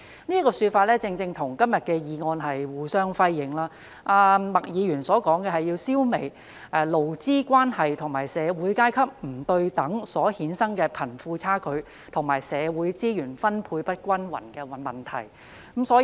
這說法正正與今天的議案內容互相輝映。麥議員提出的，是要"消弭勞資關係和社會階級不對等所衍生的貧富差距和社會資源分配不均等問題"。